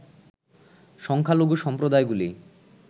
সংখ্যালঘু সম্প্রদায়গুলি